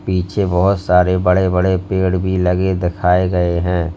पीछे बहोत सारे बड़े बड़े पेड़ भी लगे दिखाए गए है।